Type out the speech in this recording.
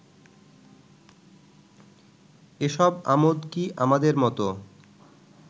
এসব আমোদ কি আমাদের মতো